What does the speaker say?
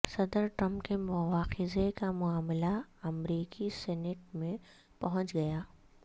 صدر ٹرمپ کے مواخذے کا معاملہ امریکی سینیٹ میں پہنچ گیا